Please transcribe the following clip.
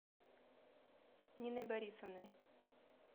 ниной борисовной